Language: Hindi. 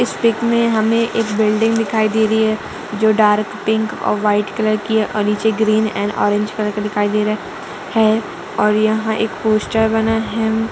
इस पिक में हमें एक बिल्डिंग दिखाई दे रही है जो डार्क पिंक और व्हाइट कलर की है और नीचे ग्रीन एन्ड ऑरेंज कलर का दिखाई दे रहा है और यहाँ एक पोस्टर बना है।